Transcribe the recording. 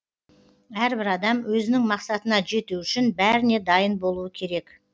әрбір адам өзінің мақсатына жету үшін бәріне дайын болуы керек